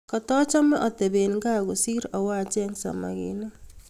katachame atebee kaa kosir awo acheng samakinik